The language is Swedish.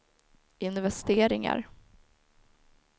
investeringar